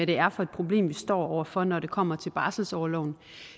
det er for et problem vi står over for når det kommer til barselsorloven